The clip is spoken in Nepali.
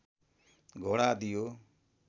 घोडा दियो